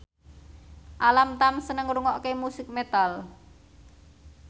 Alam Tam seneng ngrungokne musik metal